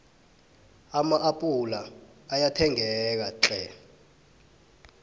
ama appula ayathengeka tlhe